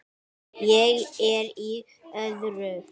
Ég er í öðru.